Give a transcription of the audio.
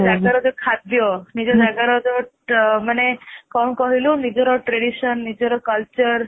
ନିଜ ଜାଗା ର ଯଉ ଖାଦ୍ୟ ନିଜ ଜାଗା ର ଯୋଉ ମାନେ କଣ କହିଲୁ ନିଜ tradition ନିଜ culture